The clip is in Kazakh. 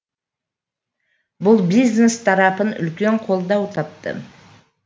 бұл бизнес тарапын үлкен қолдау тапты